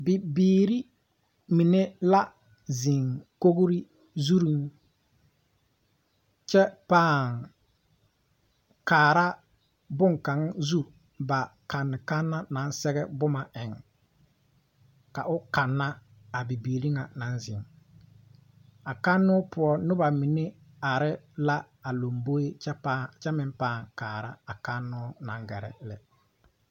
Bibiire mine la zeŋ kogre zuŋ kyɛ pãã kaara bonkaŋ zu kanne kanna naŋ sɛge bomma eŋ ka o kanna a bibiire ŋa naŋ zeŋ a kanoo poɔ nobɔ mine are la a lomboeŋ kyɛ meŋ pãã kaara a kannoo naŋ gɛrɛ lɛ. l